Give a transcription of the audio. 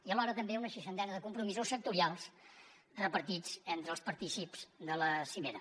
i alhora també una seixantena de compromisos sectorials repartits entre els partícips de la cimera